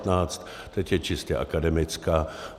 Teď je čistě akademická.